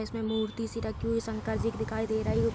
इसमें मूर्ति सी रखी हुई शंकर जी की दिखाई दे रही --